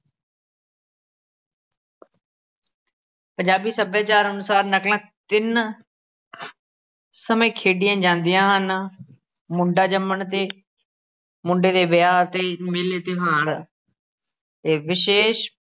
ਪੰਜਾਬੀ ਸਭਿਆਚਾਰ ਅਨੁਸਾਰ ਨਕਲਾਂ ਤਿੰਨ ਸਮੇਂ ਖੇਡੀਆਂ ਜਾਂਦੀਆਂ ਹਨ ਮੁੰਡਾ ਜੰਮਣ 'ਤੇ, ਮੁੰਡੇ ਦੇ ਵਿਆਹ 'ਤੇ, ਮੇਲੇ ਤਿਓਹਾਰ 'ਤੇ, ਵਿਸ਼ੇਸ਼